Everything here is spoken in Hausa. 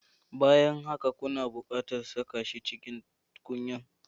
Bayan haka, kuna buƙatar saka shi a cikin tukunyar